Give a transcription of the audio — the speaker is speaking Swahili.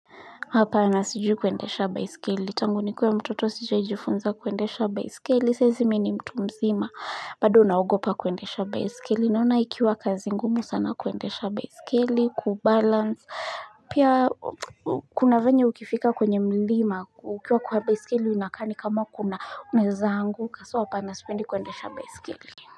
Hapana sijui kuendesha baiskeli. Tangu ni kuwe mtoto sijai jifunza kuendesha baiskeli. Saizi mi ni mtu mzima. Bado naogopa kuendesha baiskeli. Naona ikiwa kazi ngumu sana kuendesha baiskeli. Kubalance. Pia kuna venye ukifika kwenye mlima. Ukiwa kwa baiskeli unakaa ni kama kuna unaeza angu. Ka so hapana sipendi kuendesha baiskeli.